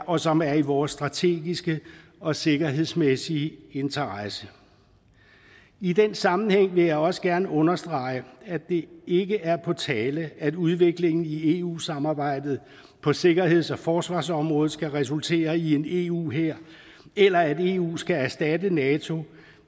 og som er i vores strategiske og sikkerhedsmæssige interesse i den sammenhæng vil jeg også gerne understrege at det ikke er på tale at udviklingen i eu samarbejdet på sikkerheds og forsvarsområdet skal resultere i en eu hær eller at eu skal erstatte nato